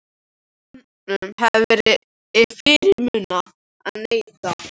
Honum hafði verið fyrirmunað að neita.